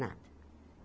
Nada.